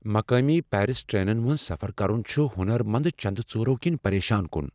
مقٲمی پیرس ٹرینن منٛز سفر کرن چُھ ہُنر مند چندٕ ژوٗرو كِنہِ پریشان كُن ۔